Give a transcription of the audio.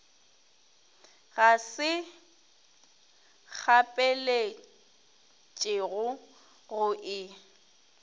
ga se kgapeletšego go e